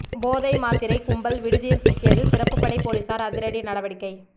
போதை மாத்திரை கும்பல் விடுதியில் சிக்கியது சிறப்பு படை போலீசார் அதிரடி நடவடிக்கை